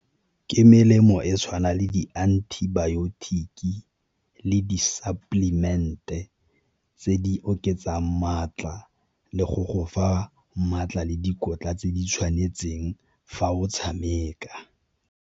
Ke melemo e tshwana le di-antibiotic-ki le di-supplement-e tse di oketsang maatla le go go fa maatla le dikotla tse di tshwanetseng fa o tshameka.